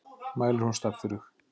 Mælir hún staffírug.